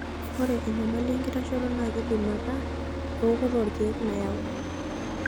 Ore enyamali enkitashoto naa keidim ataa ewokoto olkeek nayau.